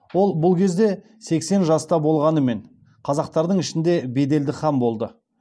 ол бұл кезде сексен жаста болғанымен қазақтардың ішінде беделді хан болды